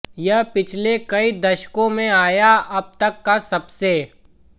यह पिछले कई दशकों में आया अब तक का सबसे